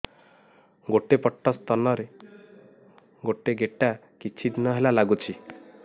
ଗୋଟେ ପଟ ସ୍ତନ ରେ ଗୋଟେ ଗେଟା କିଛି ଦିନ ହେଲା ଲାଗୁଛି